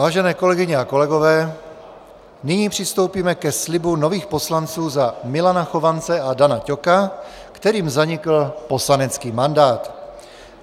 Vážené kolegyně a kolegové, nyní přistoupíme ke slibu nových poslanců za Milana Chovance a Dana Ťoka, kterým zanikl poslanecký mandát.